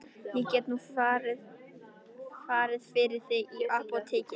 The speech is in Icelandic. Ég get nú farið fyrir þig í apótekið.